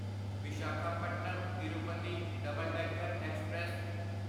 Visakhapatnam Tirupati double decker express